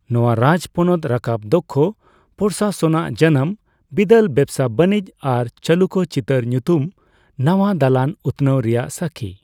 ᱱᱚᱣᱟ ᱨᱟᱡᱽᱯᱚᱱᱚᱛ ᱨᱟᱠᱟᱵ ᱫᱚᱠᱠᱷᱚ ᱯᱨᱚᱥᱟᱥᱚᱱ ᱟᱜ ᱡᱟᱱᱟᱢ, ᱵᱤᱞᱟᱹᱫ ᱵᱮᱵᱥᱟᱼᱵᱟᱹᱱᱤᱡ ᱟᱨ ᱪᱟᱞᱩᱠᱠᱚ ᱪᱤᱛᱟᱹᱨ ᱧᱩᱛᱩᱢ ᱱᱟᱣᱟ ᱫᱟᱞᱟᱱ ᱩᱛᱱᱟᱹᱣ ᱨᱮᱭᱟᱜ ᱥᱟᱹᱠᱷᱤ ᱾